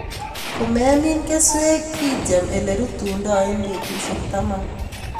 Komemin keswek ityem ilerutundo en betusiek taman.